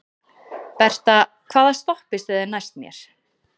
Berta, hvaða stoppistöð er næst mér?